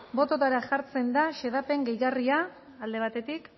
botoetara jartzen da xedapen gehigarria alde batetik